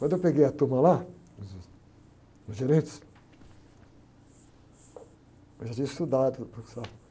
Quando eu peguei a turma lá, os, os gerentes, eu já tinha estudado no Banco do Safra.